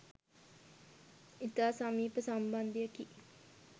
ඉතා සමීප සම්බන්ධයකි.